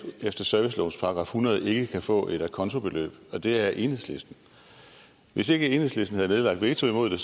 efter servicelovens § hundrede ikke kan få et a conto beløb og det er enhedslisten hvis ikke enhedslisten havde nedlagt veto imod det